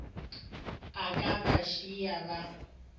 a ka ba šiago ba